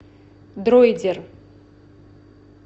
друидер